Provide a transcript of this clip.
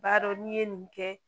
B'a dɔn n'i ye nin kɛ